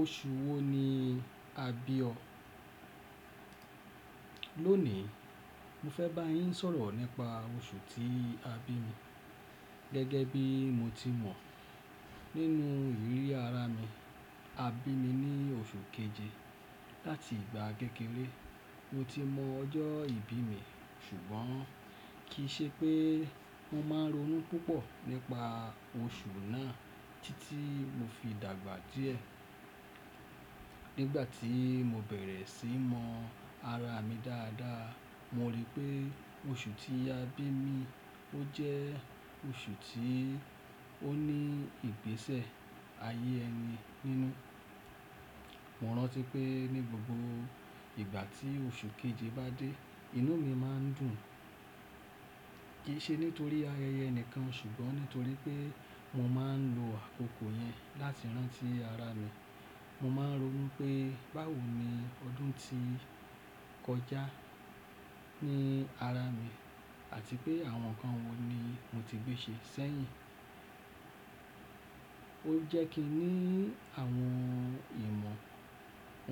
Oṣù wo ni a bi ọ? Lónìí, mo fẹ́ bá yín sọ̀rọ̀ nípa oṣù tí a bí mi. Gẹ́gẹ́ bí mo ti mọ̀ nínú ìrí ara mi, a bí mi ní oṣù keje. Láti ìgbà kékéré, mo ti mọ ọjọ́ ìbí mi, ṣùgbọ́n kì í ṣe pé mọ́ máa ń ronú púpọ̀ nípa oṣù náà títí mo fi dàgbà díẹ̀. Nígbà tí mo bẹ̀rẹ̀ sí ni mọ ara mi dáadáa, mo rí pé oṣù tí a bí mi, ó jẹ́ oṣù tí ó ní ìgbésẹ̀ ayé ẹni nínú. Mo ranti pé ní gbogbo ìgbà tí oṣù keje bá dé, inú mi máa ń dùn. Kì í ṣe nítorí ayẹyẹ nìkan, ṣùgbọ́n nítorí pé mo máa ń lo àkókò yẹn láti rántí ara mi. Mo máa ń ronú pé báwo ni ọdún ti kọjá ní ara mi àti pé àwọn nǹkan wo ni mo ti gbé ṣe ṣẹ́yìn. Ó jẹ́ kí n ní àwọn ìmọ̀